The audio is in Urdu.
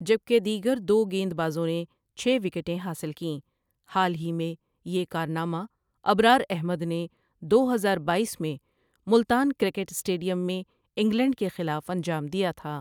جب کہ دیگر دو گیند بازوں نے چھ وکٹیں حاصل کیں حال ہی میں، یہ کارنامہ ابرار احمد نے دو ہزار بایس میں ملتان کرکٹ اسٹیڈیم میں انگلینڈ کے خلاف انجام دیا تھا ۔